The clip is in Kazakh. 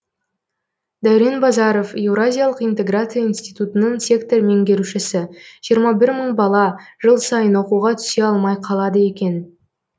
дәурен базаров еуразиялық интеграция институтының сектор меңгерушісі жиырма бір мың бала жыл сайын оқуға түсе алмай қалады екен